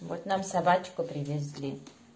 вот нам собачку привезли